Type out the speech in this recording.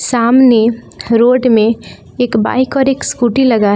सामने रोड में एक बाइक और एक स्कूटी लगा है।